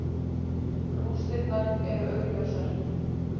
Rústirnar eru augljósar.